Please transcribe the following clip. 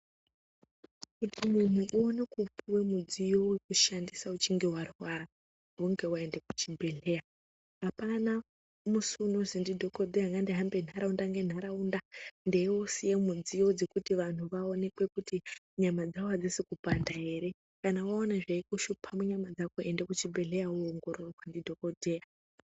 Kuti munhu uone kupuwe mudziyo wekushandisa uchinge warwara ,hunge waenda kuchibhehlera. Apana musi unozwi ndidhokodheya ngandihambe ntharaunda ngentharaunda ,ndeiusiya midziyo dzekuti vanthu vaonekwe kuti nyama dzavo adzisi kupanda ere..Kana waona zveikushupa munyama dzako enda kuchibhehlera woongororwa ndidhokodheya.